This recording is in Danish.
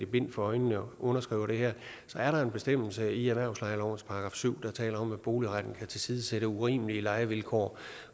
bind for øjnene underskriver det her så er der en bestemmelse i erhvervslejelovens § syv der taler om at boligretten kan tilsidesætte urimelige lejevilkår